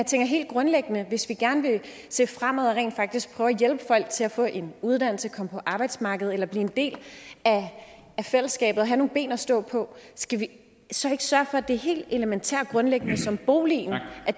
tænker helt grundlæggende at hvis vi gerne vil se fremad og rent faktisk prøve at hjælpe folk til at få en uddannelse komme på arbejdsmarkedet eller blive en del af fællesskabet og have nogle ben at stå på skal vi så ikke sørge for at det helt elementære og grundlæggende som boligen